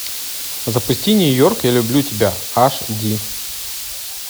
запусти нью йорк я люблю тебя аш ди